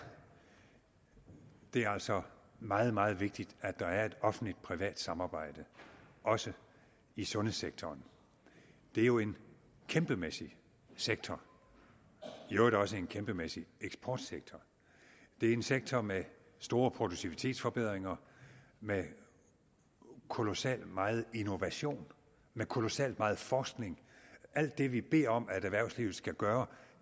det altså meget meget vigtigt at der er et offentligt privat samarbejde også i sundhedssektoren det er jo en kæmpemæssig sektor i øvrigt også en kæmpemæssig eksportsektor det er en sektor med store produktivitetsforbedringer med kolossal meget innovation med kolossal meget forskning alt det vi beder om erhvervslivet skal gøre